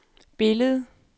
billedet